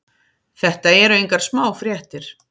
Þetta eru engar smá fréttir.